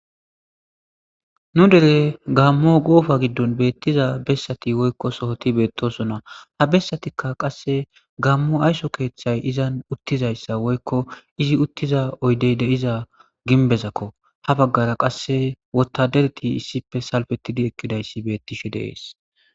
nu dere gaammo goofa giddon beettiza bessati woykko sohoti beettosona ha bessatikka qasse gaammo aysso keeththay izan uttizayssa woykko izi uttiza oydey de7iza ginbezakko ha baggara qasse wottadereti issippe salfetidi ekkidayssi beettishe deees